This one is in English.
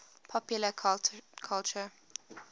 political culture